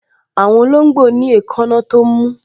Àwọn olóngbò ní èékánná tó mú